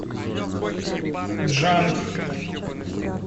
джанг